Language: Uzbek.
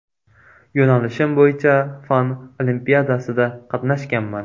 Yo‘nalishim bo‘yicha fan olimpiadasida qatnashganman.